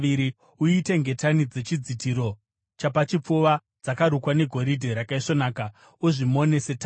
“Uite ngetani dzechidzitiro chapachipfuva dzakarukwa negoridhe rakaisvonaka, uzvimone setambo.